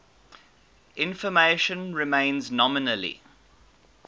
information remains nominally